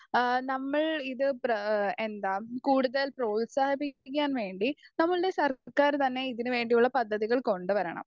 Speaker 1 ആ നമ്മൾ ഇത് പ്ര എന്താ കൂടുതൽ പ്രോത്സാഹിപ്പിക്കാൻ വേണ്ടി നമ്മുടെ സർക്കാർ തന്നെ ഇതിനു വേണ്ടിയുള്ള പദ്ധതികൾ കൊണ്ടുവരണം.